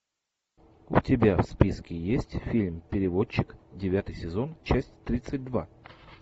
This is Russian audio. у тебя в списке есть фильм переводчик девятый сезон часть тридцать два